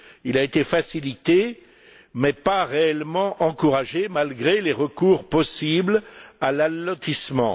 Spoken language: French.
Il a été facilité mais pas réellement encouragé malgré les recours possibles à l'allotissement.